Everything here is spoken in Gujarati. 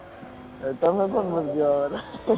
એ તમે કેમ